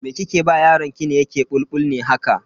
Me kike ba yaron ki yake yin bulbul ne haka?